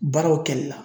Baaraw kɛli la